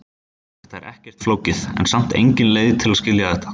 Þetta er ekkert flókið, en samt engin leið að skilja þetta.